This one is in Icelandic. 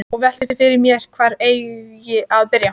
Og velti fyrir mér hvar eigi að byrja.